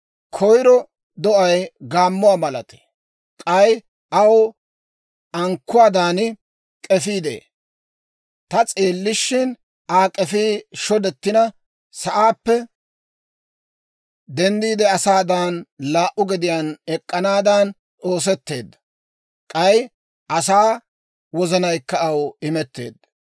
«Koyro do'ay gaammuwaa malatee; k'ay aw ankkuwaadan k'efii de'ee. Ta s'eellishin, Aa k'efii shodettina, sa'aappe denddiide, asaadan laa"u gediyaan ek'k'anaadan oosetteedda; k'ay asaa wozanaykka aw imetteedda.